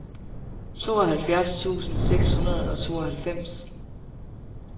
tooghalvfjerds tusind seks hundrede og tooghalvfems